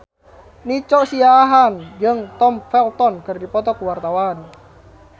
Nico Siahaan jeung Tom Felton keur dipoto ku wartawan